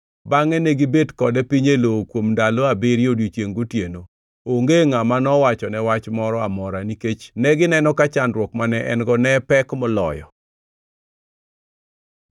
Bangʼe negibet kode piny e lowo kuom ndalo abiriyo odiechiengʼ gotieno. Onge ngʼama nowachone wach moro amora, nikech negineno ka chandruok mane en-go ne pek moloyo.